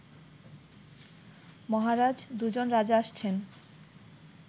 মহারাজ, দুজন রাজা আসছেন